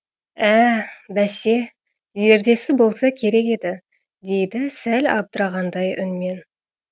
ә бәсе зердесі болса керек еді дейді сәл абдырағандай үнмен